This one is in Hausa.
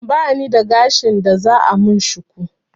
Bani da gashin da za a min shuku